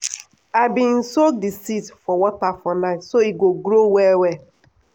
i bin soak di seeds for water for night so e go grow well well.